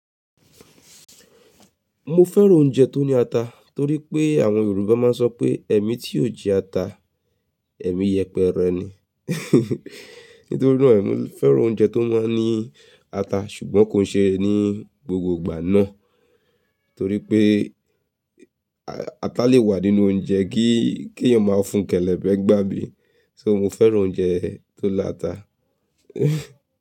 Mo fẹ́ràn oúnjẹ tó ní ata torí pé àwọn Yorùbá máa ń sọ pé "ẹ́ni tí yóò jẹ ata, ẹ́mi yẹpẹrẹ ni". Nítorí náà mo fẹ́ràn oúnjẹ tó máa ń ní ata ṣùgbọ́n kò ń ṣe ní gbogbo ìgbà náà torí pé a-ata lè wà nínú oúnjẹ kí, kí èèyàn máa fún kẹ́lẹ̀bẹ̀ nigbà mí. So mo fẹ́ràn oúnjẹ tó lá ata.